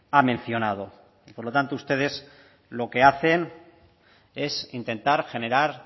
ha mencionado por lo tanto ustedes lo que hacen es intentar generar